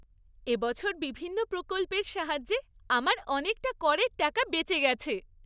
এবছর বিভিন্ন প্রকল্পের সাহায্যে আমার অনেকটা করের টাকা বেঁচে গেছে।